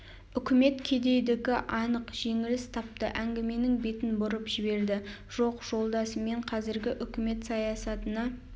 үкімет кедейдікі анық жеңіліс тапты әңгіменің бетін бұрып жіберді жоқ жолдас мен қазіргі өкімет саясатына